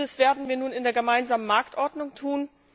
Dies werden wir nun in der Gemeinsamen Marktordnung tun.